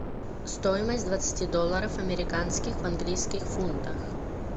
стоимость двадцати долларов американских в английских фунтах